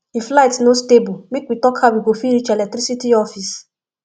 if light no stable make we talk how we go fit reach electricity office